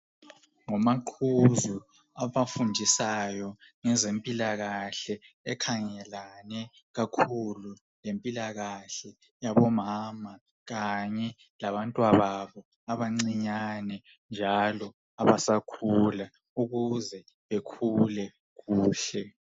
Ngomaqhuzu abafundisayo ngezempilakahle ekhangelane kakhulu lempilakahle yabomama kanye labantwababo abancinyane njalo abasakhula ukuze bekhule kuhle.